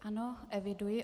Ano, eviduji.